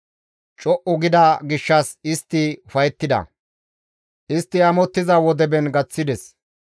Co7u gida gishshas istti ufayettida; istti amottiza wodeben gaththides.